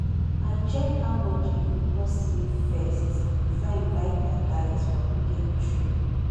i check how much e go cost me first before i invite my guys for weekend trip.